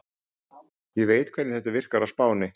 Ég veit hvernig þetta virkar á Spáni.